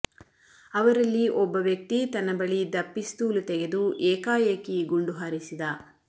ಅವರಲ್ಲಿ ಒಬ್ಬ ವ್ಯಕ್ತಿ ತನ್ನ ಬಳಿಯಿದ್ದ ಪಿಸ್ತೂಲು ತೆಗೆದು ಏಕಾಏಕಿ ಗುಂಡು ಹಾರಿಸಿದ